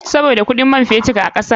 Sabida kuɗin man fetur a kasar.